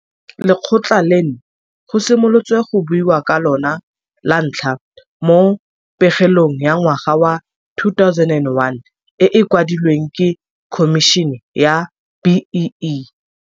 Lekgotla leno go simolotswe go buiwa ka lona lantlha mo pegelong ya ngwaga wa 2001 e e kwadilweng ke Khomišene ya BEE.